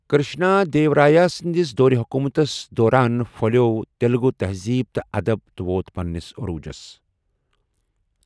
کرشنا دیورایا سنٛدِس دور حکومتس دوران پھۄلیو تیلگو تہزیٖب تہٕ ادب تہٕ ووت پننِس عروجس۔